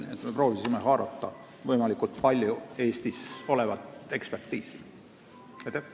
Nii et me proovisime võimalikult palju haarata Eestis olemasolevaid eksperditeadmisi.